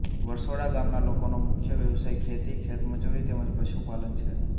વરસોડા ગામના લોકોનો મુખ્ય વ્યવસાય ખેતી ખેતમજૂરી તેમ જ પશુપાલન છે